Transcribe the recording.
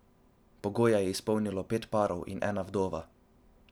Pogoje je izpolnilo pet parov in ena vdova.